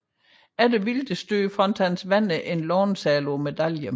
Efter Wildes død fandt hans venner en låneseddel på medaljen